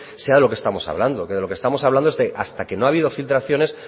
sea de lo que estamos hablando que de lo que estamos hablando es de hasta que no habido filtraciones